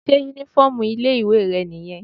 Sé uniform ilé ìwé rẹ̀ nìyẹn?